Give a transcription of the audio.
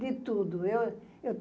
De tudo. Eu eu